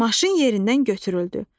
Maşın yerindən götürüldü.